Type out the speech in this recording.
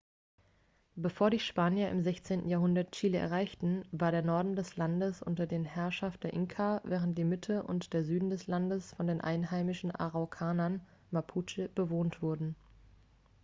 bevor die spanier im 16. jahrhundert chile erreichten war der norden des landes unter den herrschaft der inka während die mitte und der süden des landes von den einheimischen araukanern mapuche bewohnt wurde